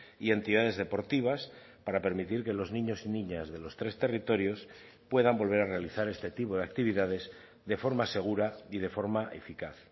y entidades deportivas para permitir que los niños y niñas de los tres territorios puedan volver a realizar este tipo de actividades de forma segura y de forma eficaz